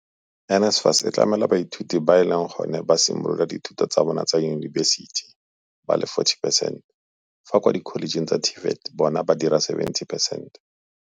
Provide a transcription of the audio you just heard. NSFAS e tlamela baithuti ba e leng gone ba simolola dithuto tsa bona tsa yunibesiti ba le 40 percent fa kwa dikholejeng tsa TVET bona ba dira 70 percent.